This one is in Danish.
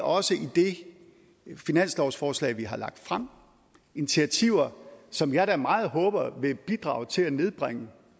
også i det finanslovsforslag vi har lagt frem initiativer som jeg da meget håber vil bidrage til at nedbringe